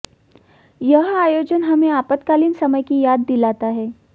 यह आयोजन हमें आपातकालीन समय की याद दिलाता है